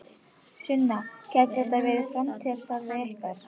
Sunna: Gæti þetta verið framtíðarstarfið ykkar?